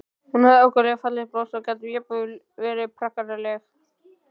Hún hafði ákaflega fallegt bros og gat jafnvel verið prakkaraleg.